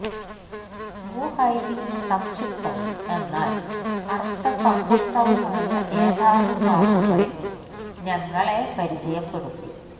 വുഹൈബി സംക്ഷിപ്തവും എന്നാല് അര്ഥസംപുഷ്ടവുമായ ഏതാനും വാക്കുകളില് ഞങ്ങളെ പരിചയപ്പെടുത്തി